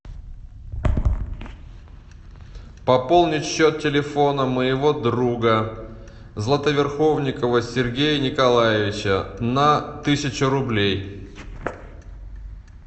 пополнить счет телефона моего друга златоверховникова сергея николаевича на тысячу рублей